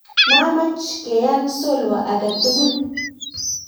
maacham keyeaan solwo age tugul